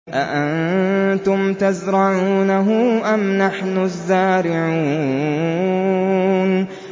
أَأَنتُمْ تَزْرَعُونَهُ أَمْ نَحْنُ الزَّارِعُونَ